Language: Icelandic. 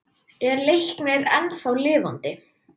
Er Leiknir ennþá lifandi?